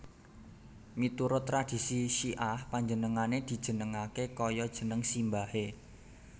Miturut tradhisi Syi ah panjenengané dijenengaké kaya jeneng simbahé